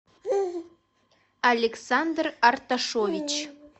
александр арташович